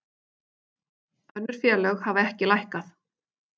Önnur félög hafa ekki lækkað